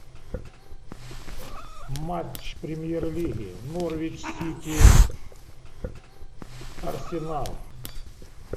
матч премьер лиги норвич сити арсенал